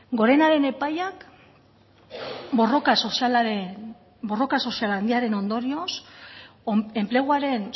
gorena den epaiak borroka sozial handiaren ondorioz enpleguaren